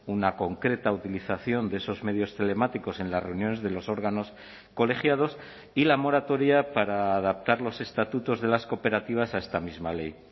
una concreta utilización de esos medios telemáticos en las reuniones de los órganos colegiados y la moratoria para adaptar los estatutos de las cooperativas a esta misma ley